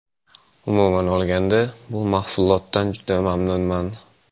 Umuman olganda bu mahsulotdan juda mamnunman.